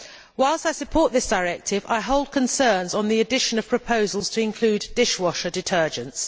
Whilst I support this directive, I hold concerns on the addition of proposals to include dishwasher detergents.